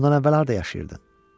Bundan əvvəl harda yaşayırdın?